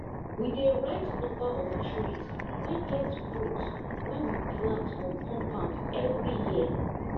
we dey write number of trees wey get fruit wey we plant for compound everi year